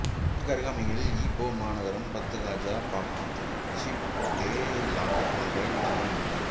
இதற்கு அருகாமையில் ஈப்போ மாநகரம் Batu Gajah Papan Siputeh Lahat போன்ற இடங்கள் உள்ளன